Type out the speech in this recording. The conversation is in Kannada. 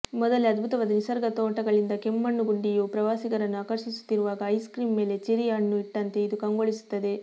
ಮೊದಲೆ ಅದ್ಭುತವಾದ ನಿಸರ್ಗ ನೋಟಗಳಿಂದ ಕೆಮ್ಮಣ್ಣುಗುಂಡಿಯು ಪ್ರವಾಸಿಗರನ್ನು ಆಕರ್ಷಿಸುತ್ತಿರುವಾಗ ಐಸ್ ಕ್ರೀಮ್ ಮೇಲೆ ಚೆರ್ರಿ ಹಣ್ಣು ಇಟ್ಟಂತೆ ಇದು ಕಂಗೊಳಿಸುತ್ತದೆ